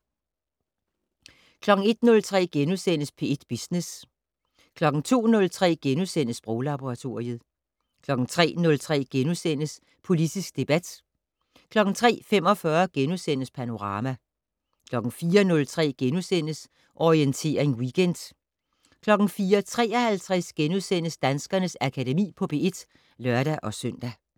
01:03: P1 Business * 02:03: Sproglaboratoriet * 03:03: Politisk debat * 03:45: Panorama * 04:03: Orientering Weekend * 04:53: Danskernes Akademi på P1 *(lør-søn)